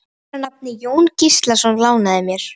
Maður að nafni Jón Gíslason lánaði mér.